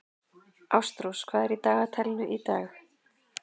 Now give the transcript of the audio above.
Ástrós, hvað er í dagatalinu í dag?